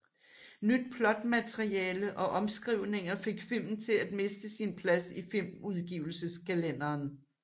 Nyt plotmateriale og omskrivninger fik filmen til at miste sin plads i filmudgivelseskalenderen